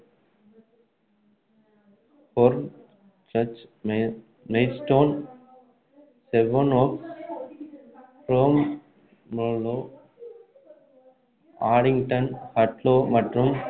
Hornchurch, Maidstone, Sevenoaks, Bromley, Addington, Hadlow மற்றும்